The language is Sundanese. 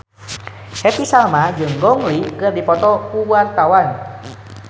Happy Salma jeung Gong Li keur dipoto ku wartawan